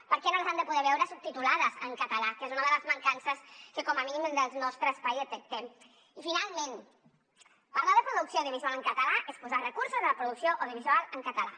per què no les han de poder veure subtitulades en català que és una de les mancances que com a mínim des del nostre espai detectem i finalment parlar de producció audiovisual en català és posar recursos a la producció audiovisual en català